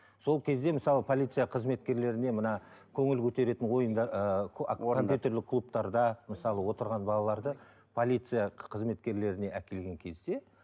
сол кезде мысалы полиция қызметкерлеріне мына көңіл көтеретін ыыы компьютерлік клубтарда мысалы отырған балаларды полиция қызметкерлеріне әкелген кезде